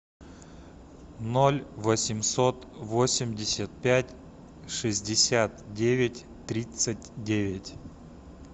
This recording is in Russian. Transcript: ноль восемьсот восемьдесят пять шестьдесят девять тридцать девять